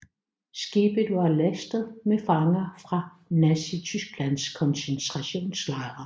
Skibet var lastet med fanger fra Nazitysklands koncentrationslejre